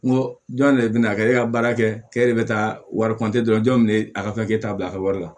N go jɔn ne be na kɛ e ka baara kɛ k'e de be taa wari jɔn bɛ ne a ka t'a bila a ka wari la